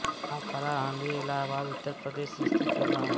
महाखरा हंडिया इलाहाबाद उत्तर प्रदेश स्थित एक गाँव है